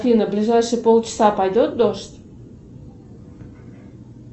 афина в ближайшие полчаса пойдет дождь